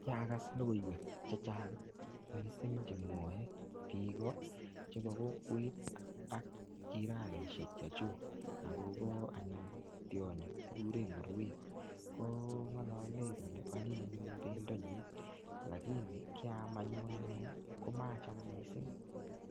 Kiakas logoiwek chechang missing chemwae kiko, chebo kokwet ak jiranisiek chechuk akobo anyun tionyi kikure nguruwet. Ko ng'alale kole anyiny anyun pendo nyii. Lakini kiaam anyun anee, komacham missing.